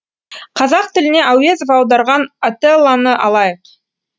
қазақ тіліне әуезов аударған отеллоны алайық